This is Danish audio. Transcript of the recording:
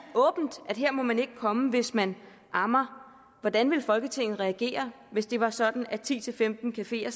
at her må man ikke komme hvis man ammer hvordan ville folketinget reagere hvis det var sådan at ti til femten cafeer